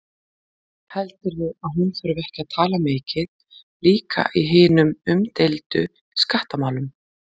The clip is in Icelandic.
Heldurðu að hún þurfi ekki að tala mikið líka í hinum umdeildu skattamálum?